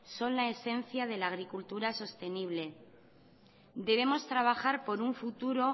son la esencia de la agricultura sostenible debemos trabajar por un futuro